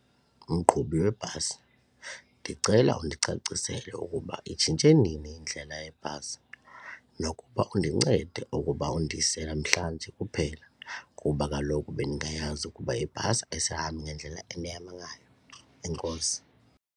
Mqhubi webhasi, ndicela undicacisele ukuba itshintshe nini indlela yebhasi nokuba undincede ukuba undise namhlanje kuphela kuba kaloku bendingayazi ukuba ibhasi ayisihambi ngendlela endihamba ngayo. Enkosi.